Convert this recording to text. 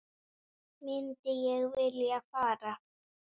Myndi ég vilja fara?